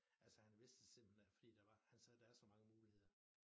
Altså han vidste det simpelthen ikke fordi der var han sagde der var så mange muligheder